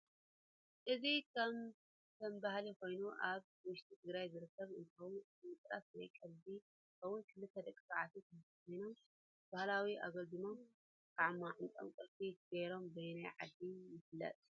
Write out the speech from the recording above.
እዚ ከም ባህሊ ኮይኑ አብ ውሽጢ ትግራይ ዝርከብ አንትከውን እቲ ምቅላስ ናይ ቀሊድ አንትከውን ክልተ ደቂ ተባዓትዮ ኾይኖም ባህላዊ አግልድም ካብ ማንጠኦም ቁልፊ ገይሮ በየናይ ዓዲ ይፊለጥ?